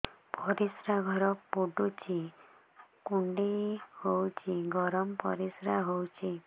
ପରିସ୍ରା ଘର ପୁଡୁଚି କୁଣ୍ଡେଇ ହଉଚି ଗରମ ପରିସ୍ରା ହଉଚି